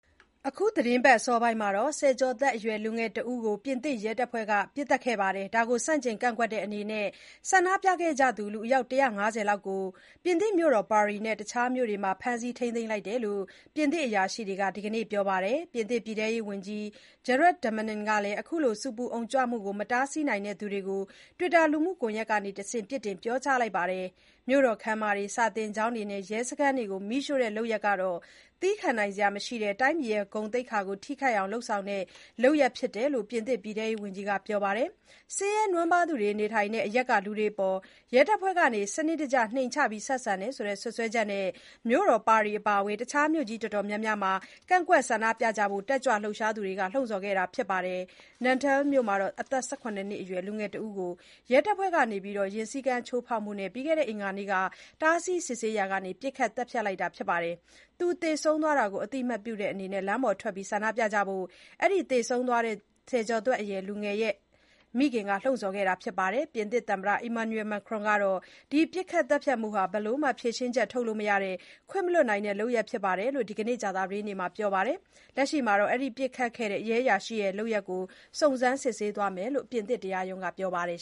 အခုသီတင်းပတ် အစောပိုင်းမှာ ဆယ်ကျော်သက်အရွယ် လူငယ်တဦးကို ပြင်သစ်ရဲတပ်ဖွဲ့က ပစ်သတ်ခဲ့တာကို ဆန့်ကျင်ကန့်ကွက်တဲ့အနေနဲ့ ဆန္ဒပြခဲ့ကြသူ ၁၅၀ လောက်ကို မြို့တော် ပါရီနဲ့ တခြား မြို့တွေမှာ ဖမ်းဆီး ထိန်းသိမ်းလိုက်ကြောင်း ပြင်သစ်အရာရှိတွေက ဒီကနေ့ ပြောပါတယ်။ ပြင်သစ် ပြည်ထဲရေးဝန်ကြီး Gerald Damanin ကလည်း အခုလို ဆူပူအုံကြွမှုတွေကို မတားဆီးတဲ့သူတွေကို Twitter လူမှုကွန်ရက်ကတဆင့် ပြစ်တင်ပြောကြားလိုက်ပါတယ်။ မြို့တော်ခန်းမတွေ၊ စာသင်ကျောင်းတွေနဲ့ ရဲစခန်းတွေကို မီးရှို့တဲ့ လုပ်ရပ်ဟာ သည်းခံနိုင်စရာမရှိတဲ့၊ တိုင်းပြည်ရဲ့ဂုဏ်သိက္ခာကို ထိခိုက်အောင်လုပ်ဆောင်တဲ့ လုပ်ရပ်ဖြစ်တယ်လို့လည်း ဝန်းကြီး Damanin က ပြောပါတယ်။ ဆင်းရဲနွမ်းပါးသူတွေနေထိုင်တဲ့ အရပ်တွေကလူတွေအပေါ် ရဲတပ်ဖွဲ့က စနစ်တကျ နှိမ်ချဆက်ဆံတယ်ဆိုတဲ့ စွပ်စွဲချက်နဲ့ မြို့တော် ပါရီအပါဝင် တခြား မြို့ကြီးအတော်များများမှာ ကန့်ကွက်ဆန္ဒပြကြဖို့ တက်ကြွလှုပ်ရှားသူတွေက လှုံ့ဆော်ခဲ့တာပါ။ Nanterre မြို့မှာ အသက် ၁၇ နှစ်အရွယ် လူငယ်တဦးကို ရဲတပ်ဖွဲ့က ယာဉ်စည်းကမ်းချိုးဖောက်မှုနဲ့ အင်္ဂါနေ့မှာ တားဆီး စစ်ဆေးရာက ပစ်ခတ် သတ်ဖြတ်ခံလိုက်ရတာပါ။ သူသေဆုံးသွားတာကို အသိအမှတ်တဲ့အနေနဲ့ လမ်းပေါ်ထွက် ဆန္ဒပြကြဖို့ အဲဒီ သေဆုံးသွားတဲ့ ဆယ်ကျော်သက်အရွယ် လူငယ်ရဲ့မိခင်က လှုံ့ဆော်ခဲ့တာပါ။ ပြင်သစ်သမ္မတ Emmanuel Macron ကတော့ ဒီပစ်ခတ်သတ်ဖြတ်မှုဟာ ဘယ်လိုမှ ဖြေရှင်းချက်ထုတ်လို့မရတဲ့၊ ခွင့်မလွှတ်နိုင်တဲ့ လုပ်ရပ်ဖြစ်တယ်လို့ ဒီကနေ့ ကြာသပတေးနေ့မှာ ပြောပါတယ်။ လက်ရှိမှာတော့ အဲဒီ ပစ်ခတ်ခဲ့တဲ့ ရဲအရာရှိရဲ့ လုပ်ရပ်ကို စုံစမ်း စစ်ဆေးသွားမယ်လို့ ပြင်သစ်တရားရုံးက ပြောပါတယ်